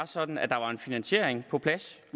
sådan at der var en finansiering på plads